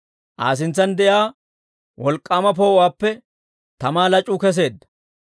Aa sintsan de'iyaa wolk'k'aama poo'uwaappe tamaa lac'uu kesseedda.